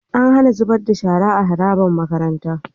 An HAna zubar da shara a harabar makaranta